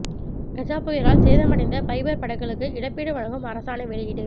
கஜா புயலால் சேதமடைந்த பைபர் படகுகளுக்கு இழப்பீடு வழங்கும் அரசாணை வெளியீடு